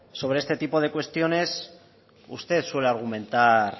sobre este tipo de cuestiones usted suele argumentar